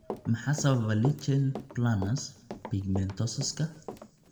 Maxaa sababa lichen planus pigmentosuska?